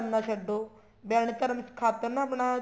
ਧਰਮ ਨਾ ਛੱਡੋ ਵਹਿਮ ਭਰਮ ਖਾਤਰ ਨਾ ਆਪਣਾ